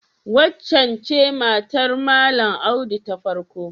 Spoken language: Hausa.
Waccen ce matar Malam Audu ta farko?